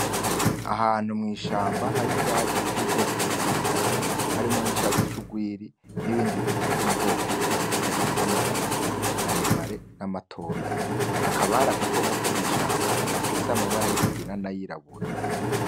Ahantu mw'ishamba har'ivyatsi vy'ubwoko butadukanye harimwo n'icatsi c'urwiri n'ibindi biti vyo m'ubwoko bitadukanye vy'amababi maremare n'amatoya, hakaba hari agakoko ko mw'ishamba gafise amabara y'ikigina nayirabura.